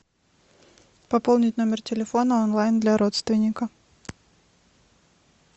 пополнить номер телефона онлайн для родственника